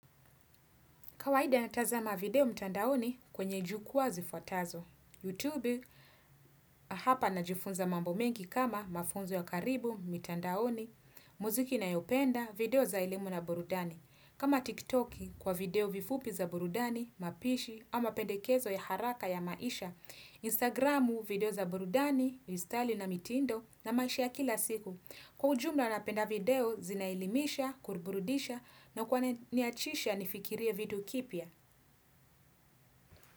Kawaida natazama video mtandaoni kwenye jukuwa zifuatazo. YouTube hapa najifunza mambo mengi kama mafunzo ya karibu, mtandaoni, muziki nayopenda, video za elimu na burudani. Kama TikTok kwa video vifupi za burudani, mapishi, ama pendekezo ya haraka ya maisha. Instagramu video za burudani, vistali na mitindo na maisha ya kila siku. Kwa ujumla napenda video zinaelimisha, kurburudisha na kuwana niachisha nifikirie video kipya.